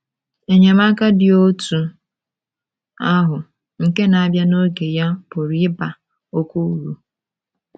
Enyemaka dị otú ahụ nke na - abịa n’oge ya pụrụ ịba oké uru.